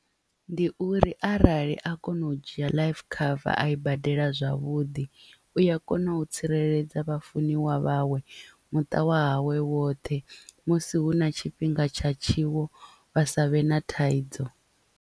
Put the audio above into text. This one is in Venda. Ndi uri arali a kono u dzhia life cover a i badela zwavhuḓi u ya kona u tsireledza vhafuniwa vhawe muṱa wa hawe woṱhe musi hu na tshifhinga tsha tshiwo vha savhe na thaidzo.